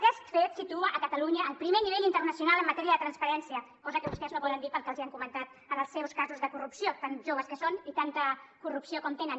aquest fet situa catalunya al primer nivell internacional en matèria de transparència cosa que vostès no poden dir pel que els han comentat en els seus casos de corrupció tan joves que són i tanta corrupció com tenen